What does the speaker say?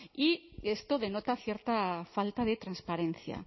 y esto denota cierta falta de transparencia